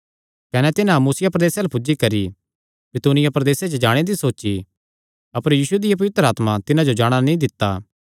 कने तिन्हां मुसिया प्रदेसे अल्ल पुज्जी करी बितुनिया प्रदेसे च जाणे दी सोची अपर यीशु दिया पवित्र आत्मा तिन्हां जो जाणा नीं दित्ता